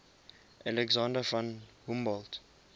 alexander von humboldt